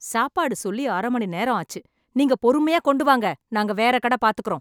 சாப்பாடு சொல்லி அரை மணி நேரம் ஆச்சு. நீங்க பொறுமையா கொண்டு வாங்க, நாங்க வேற கடை பாத்துக்குறோம்.